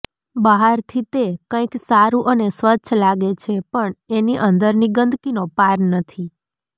બહારથી તે કૈંક સારું અને સ્વચ્છ લાગે છે પણ એની અંદરની ગંદકીનો પાર નથી